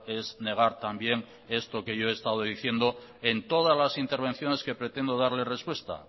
es negar también esto que yo he estado diciendo en todas las intervenciones que pretendo darle respuesta